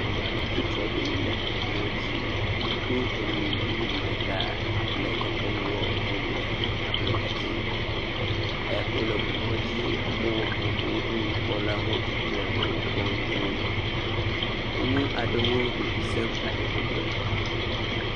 Ame hatsotso aɖewo le eŋumɔdzi do eŋu ŋugbi ɖeka le dekɔnuwɔ ɖum le ablɔ edzi. Eya ke wo le ŋu mɔdzia ame wo ewɔ vovovowo ɖum. Nukpɔlawo hã wokpɔm tututu. Nyɔnu aɖewo vivi sem ale gbegbe.